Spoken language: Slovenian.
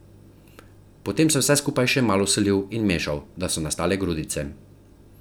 Potem sem vse skupaj še malo solil in mešal, da so nastale grudice.